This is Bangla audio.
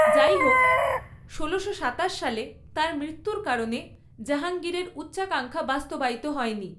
যাইহোক, ষোলো শ সাতাশ সালে তাঁর মৃত্যুর কারণে জাহাঙ্গীরের উচ্চাকাঙ্ক্ষা বাস্তবায়িত হয়নি।